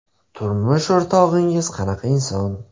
Turmush o‘rtog‘ingiz qanaqa inson?